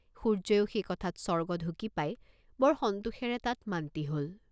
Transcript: সূৰ্য্যইও সেই কথাত স্বৰ্গ ঢুকি পাই বৰ সন্তোষেৰে তাত মান্তি হল।